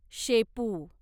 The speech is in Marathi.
शेपू